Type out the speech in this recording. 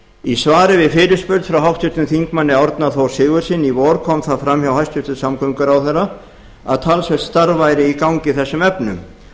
í svari við fyrirspurn frá háttvirtum þingmanni árna þór sigurðssyni í vor kom það fram hjá hæstvirtum samgönguráðherra að talsvert starf væri í gangi í þessum efnum